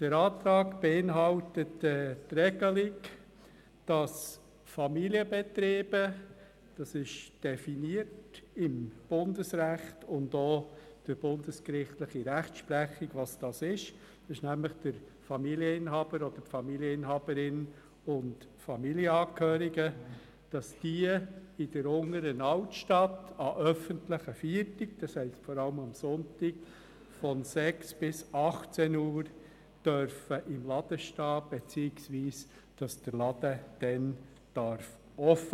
Dieser Antrag beinhaltet die Regelung, dass Familienbetriebe – diese sind im Bundesrecht und auch in der bundesgerichtlichen Rechtsprechung definiert, und es handelt sich nämlich entweder um den Familienbetriebsinhaber beziehungsweise die -inhaberin oder um Familienangehörige – in der Unteren Altstadt an öffentlichen Feiertagen, das heisst vor allem sonntags von 6 bis 18 Uhr, im Laden stehen beziehungsweise den Laden offen halten dürfen.